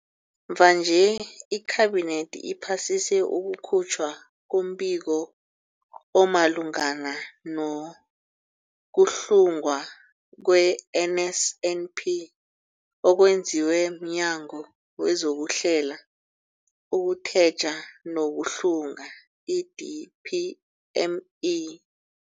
Mvanje, iKhabinethi iphasise ukukhutjhwa kombiko omalungana no-kuhlungwa kwe-NSNP okwenziwe mNyango wezokuHlela, ukuTjheja nokuHlunga, i-DPME.